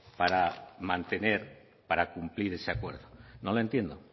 para mantener para cumplir ese acuerdo no la entiendo